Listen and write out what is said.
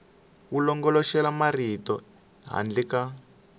wu longoloxela marito handle ka